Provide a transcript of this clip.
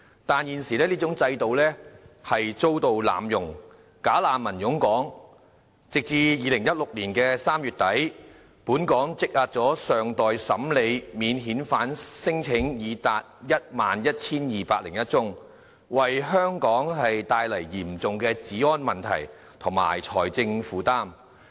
但是，現時這種制度遭到濫用，"假難民"湧港，截至2016年3月底，本港積壓的尚待審理免遣返聲請已達 11,201 宗，為香港帶來嚴重的治安問題和財政負擔。